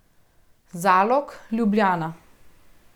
Zalog, Ljubljana.